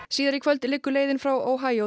síðar í kvöld liggur leiðin frá